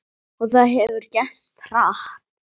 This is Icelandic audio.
Og það hefur gerst hratt.